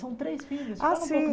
São três filhos. Como Ah sim